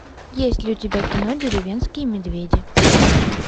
есть ли у тебя кино деревенские медведи